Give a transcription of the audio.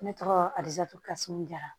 Ne tɔgɔ alizatu kasɔn jara